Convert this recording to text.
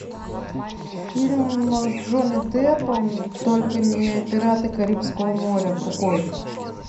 фильм с джонни деппом только не пираты карибского моря другой